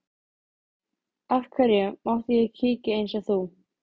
Af hverju mátti ég ekki kíkja eins og þú?